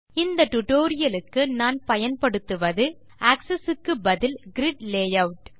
இந்த டுடோரியலுக்கு நான் பயன்படுத்துவது ஆக்ஸஸ் க்கு பதில் கிரிட் லேயூட்